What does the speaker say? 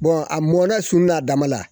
a mɔ na sun na dama la.